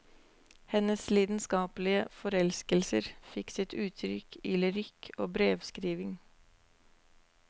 Hennes lidenskapelige forelskelser fikk sitt uttrykk i lyrikk og brevskrivning.